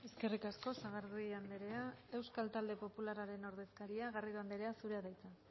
eskerrik asko sagardui andrea euskal talde popularraren ordezkaria garrido andrea zurea da hitza